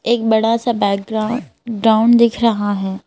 एक बड़ा सा बैकग्राउंड दिख रहा है।